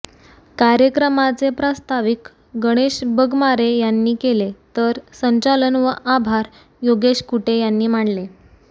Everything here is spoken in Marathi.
कार्यक्रमाचे प्रस्ताविक गणेश बगमारे यांनी केले तर संचालन व आभार योगेश कुटे यांनी मानले